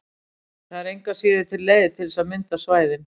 Það er engu að síður til leið til þess að mynda svæðin.